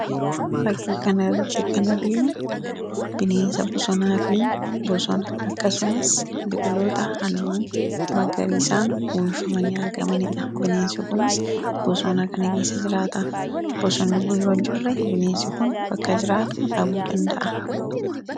Fakkii kan irratti kan arginu bineensa bosonaa fi bosona akkasumas biqiloota halluu magariiisaan uuwifamanii argamaniidha. Bineensi kunis bosoonaa kana keessa jiraataa bosonni kun yoo hin jirre bineensi kun bakka jiraatu dhabuu danda'a.